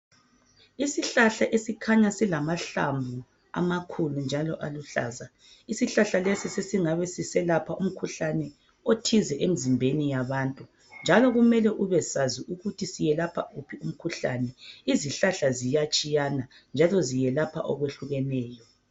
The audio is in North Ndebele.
Isihlahla esikhanya silamahlamvu amakhulu njalo aluhlaza isihlahla lesi sesingabe siselapha umkhuhlane othize emzimbeni yabantu njalo kumeme ubesazi ukuthi seyelapha uphi umkhuhlane. Izihlahla ziyatshiyana njalo zelapha okwehlukeneyo.